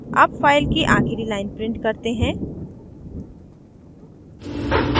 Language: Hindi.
अब file की आखिरी line print करते हैं